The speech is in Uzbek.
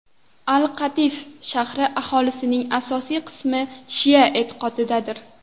Al-Qatif shahri aholisining asosiy qismi shia e’tiqodidadir.